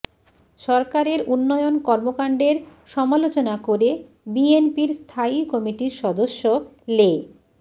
সরকারের উন্নয়ন কর্মকাণ্ডের সমালোচনা করে বিএনপির স্থায়ী কমিটির সদস্য লে